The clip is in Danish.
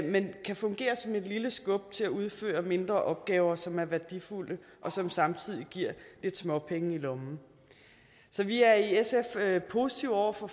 men kan fungere som et lille skub til at udføre mindre opgaver som er værdifulde og som samtidig giver lidt småpenge i lommen så vi er i sf positive over for